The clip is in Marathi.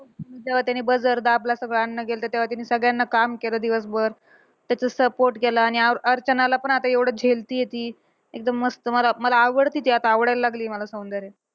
तेव्हा त्याने buzzer दाबला. सगळं अन्न गेलं, तेव्हा तिने सगळ्यांना काम केलं दिवसभर. त्याचा support केला आणि अ अर्चनाला पण आता एवढं झेलतीये ती. एकदम मस्त मला मला आवडती ती आता आवडायला लागली सौंदर्या.